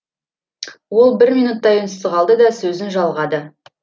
ол бір минуттай үнсіз қалды да сөзін жалғады